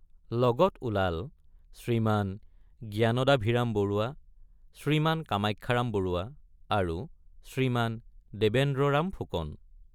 লগত ওলাল শ্ৰীমান জ্ঞানদাভিৰাম বৰুৱা শ্ৰীমান কামাখ্যাৰাম বৰুৱা আৰু শ্ৰীমান দেবেন্দ্ৰৰাম ফুকন।